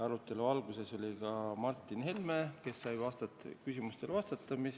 Arutelu alguses oli kohal ka Martin Helme, kes sai küsimustele vastata.